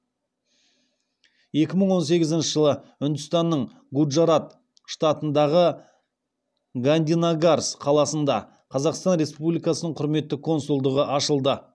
екі мың он сегізінші жылы үндістанның гуджарат штатындағы гандинагарс қаласында қазақстан республикасының құрметті консульдығы ашылды